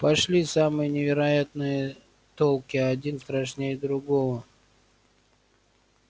пошли самые невероятные толки один страшнее другого